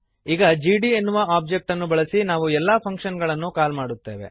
ಈ ಜಿಡಿ ಎನ್ನುವ ಒಬ್ಜೆಕ್ಟ್ ಅನ್ನು ಬಳಸಿ ನಾವು ಎಲ್ಲ ಫಂಕ್ಶನ್ ಗಳನ್ನು ಕಾಲ್ ಮಾಡುತ್ತೇವೆ